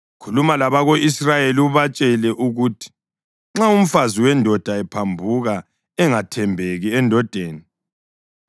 “Khuluma labako-Israyeli ubatshele ukuthi: ‘Nxa umfazi wendoda ephambuka engathembeki endodeni